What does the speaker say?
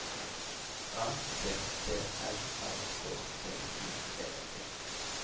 A T T R A K T I V E